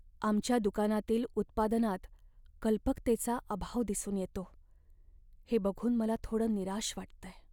आमच्या दुकानातील उत्पादनात कल्पकतेचा अभाव दिसून येतो हे बघून मला थोडं निराश वाटतंय.